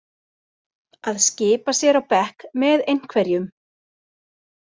Að skipa sér á bekk með einhverjum